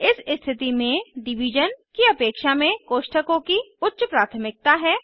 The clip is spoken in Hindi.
इस स्थिति में डिवीज़न स्लैश की अपेक्षा में कोष्ठकों की उच्च प्राथमिकता है